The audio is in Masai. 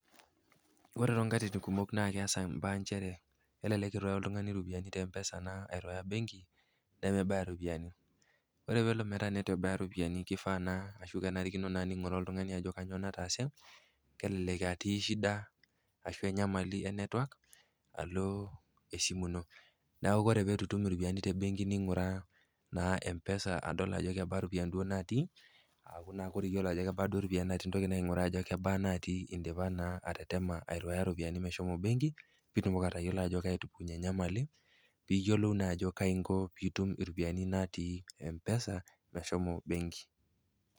Ore tonkatitin kumok naa keasa mbaa nchere, kelelek eiruaya oltung'ani iropiani te mpesa airuaya benki nemebaya iropiani. Ore pelo metaa mebaya iropiani, keifaa naa anaa kenarikino naa neing'uraa oltung'ani ajo kanyoo nataase kelelek etii shida ashu enyamali e network aloo naa esimu ino. Neaku ore teneitu etum iropiani te benki ning'ura naa mpesa adol ajo kebaa iropiani duo natii aaku ore iyiolo ajo kebaa duo iropiani natii indipa atetema airuaya iropiani meshomo benki pee itumoki atayolo ajo kaji etupukunye enyamali pii iyiolou naa ajo kai inko pee itum iropiani natii mpesa meshomo benki.